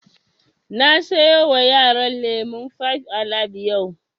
Na sayo wa yaran lemun fibe alibe yau